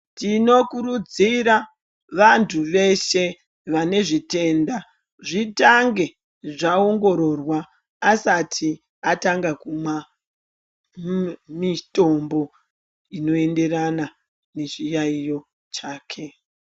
Tinokurudzira vantu veshe vanezvitenda zvitange zvaongororwa asati atanga kumwa mitombo inoenderana nechiyaiyo chake .